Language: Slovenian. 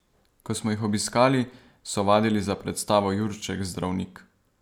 Ko smo jih obiskali, so vadili za predstavo Jurček zdravnik.